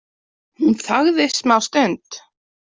Hún þagði smástund.